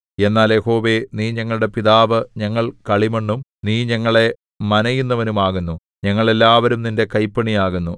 എന്നാൽ യഹോവേ നീ ഞങ്ങളുടെ പിതാവ് ഞങ്ങൾ കളിമണ്ണും നീ ഞങ്ങളെ മനയുന്നവനും ആകുന്നു ഞങ്ങൾ എല്ലാവരും നിന്റെ കൈപ്പണിയാകുന്നു